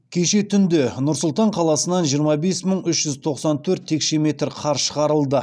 кеше түнде нұр сұлтан қаласынан жиырма бес мың үш жүз тоқсан төрт текше метр қар шығарылды